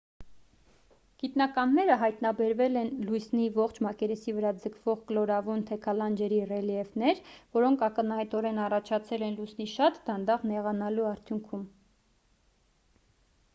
գիտնականները հայտնաբերել են լուսնի ողջ մակերեսի վրա ձգվող կլորավուն թեքալանջերի ռելիեֆներ որոնք ակնհայտորեն առաջացել են լուսնի շատ դանդաղ նեղանալու արդյունքում